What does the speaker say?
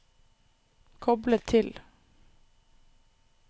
koble til